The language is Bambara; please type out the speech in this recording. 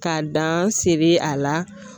Ka dan siri a la